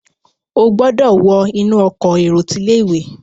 o gbódò wọ inú Ọkọ̀ èrò tí ilé-ìwé!